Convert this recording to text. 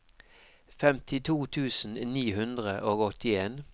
femtito tusen ni hundre og åttien